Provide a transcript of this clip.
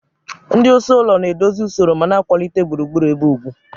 Ndị isi ụlọ na-edozi usoro ma na-akwalite gburugburu ebe ugwu.